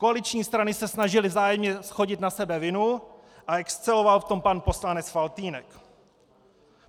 Koaliční strany se snažily vzájemně shodit na sebe vinu a exceloval v tom pan poslanec Faltýnek.